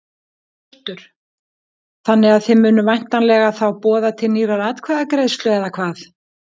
Hjörtur: Þannig að þið munuð væntanlega þá boða til nýrrar atkvæðagreiðslu eða hvað?